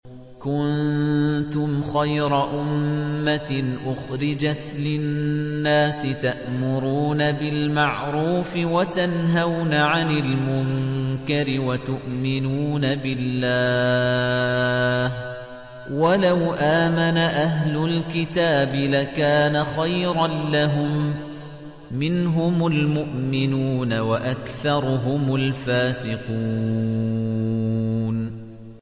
كُنتُمْ خَيْرَ أُمَّةٍ أُخْرِجَتْ لِلنَّاسِ تَأْمُرُونَ بِالْمَعْرُوفِ وَتَنْهَوْنَ عَنِ الْمُنكَرِ وَتُؤْمِنُونَ بِاللَّهِ ۗ وَلَوْ آمَنَ أَهْلُ الْكِتَابِ لَكَانَ خَيْرًا لَّهُم ۚ مِّنْهُمُ الْمُؤْمِنُونَ وَأَكْثَرُهُمُ الْفَاسِقُونَ